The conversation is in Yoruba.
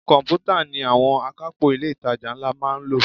Komputa ni àwọn akapo ilé itàjà ńlá máa ń lò.